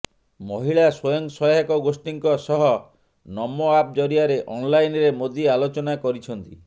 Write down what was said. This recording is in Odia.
ମହିଳା ସ୍ବୟଂ ସହାୟକ ଗୋଷ୍ଠୀଙ୍କ ସହ ନମୋ ଆପ ଜରିଆରେ ଅନଲାଇନରେ ମୋଦି ଆଲୋଚନା କରିଛନ୍ତି